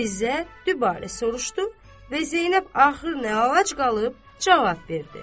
Fizə dübarə soruşdu və Zeynəb axır nə əlac qalıb, cavab verdi: